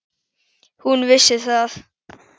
Hún vissi það.